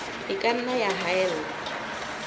e ka nna ya haella